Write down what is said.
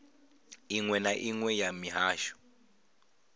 inwe na inwe ya muhasho